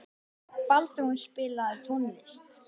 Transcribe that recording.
Baldrún, spilaðu tónlist.